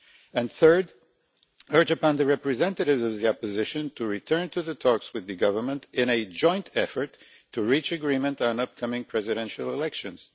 and, third, urge the representatives of the opposition to return to talks with the government in a joint effort to reach agreement on the upcoming presidential elections.